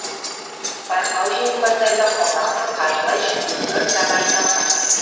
байқау жеңімпаздарына қомақты қаржылай жүлделер тағайындалған